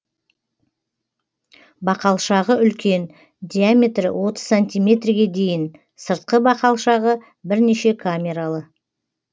бақалшағы үлкен диаметрі отыз сантиметрге дейін сыртқы бақалшағы бірнеше камералы